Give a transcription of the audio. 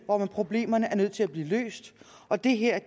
hvor problemerne er nødt til at blive løst og det her er